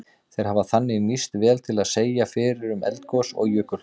Þeir hafa þannig nýst vel til að segja fyrir um eldgos og jökulhlaup.